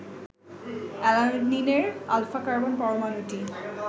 অ্যালানিনের alpha carbon পরমাণুটি